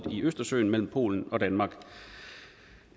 i østersøen mellem polen og danmark